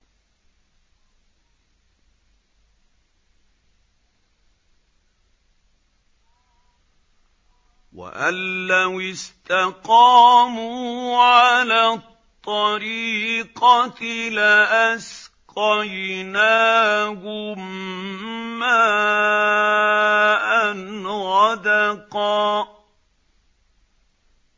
وَأَن لَّوِ اسْتَقَامُوا عَلَى الطَّرِيقَةِ لَأَسْقَيْنَاهُم مَّاءً غَدَقًا